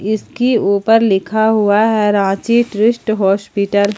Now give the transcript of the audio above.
इसके ऊपर लिखा युवा है रांची ट्रस्ट ट्रस्ट हॉस्पिटल ।